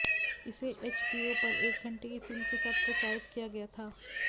इसे एचबीओ पर एक घंटे की फिल्म के साथ प्रचारित किया गया था